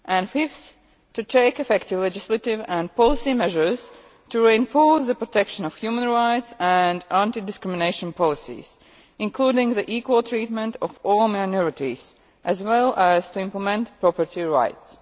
fifth, to take effective legislative and policy measures to reinforce the protection of human rights and anti discrimination policies, including the equal treatment of all minorities, as well as to implement property rights.